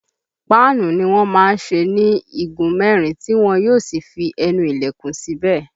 Páànù ni wọ́n má ń ṣe ní igun mẹ́rin tí wọn yó sì fi ẹnu ilẹ̀kùn síbẹ̀